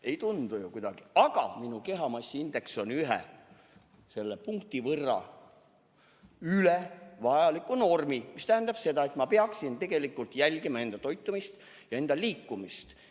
Ei tundu ju kuidagi nii, aga minu kehamassiindeks on ühe punkti võrra üle normi ja see tähendab seda, et ma peaksin jälgima enda toitumist ja liikumist.